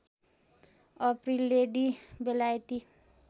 April lady बेलायती